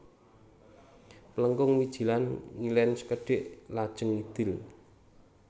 Plengkung Wijilan ngilen sekedhik lajeng ngidul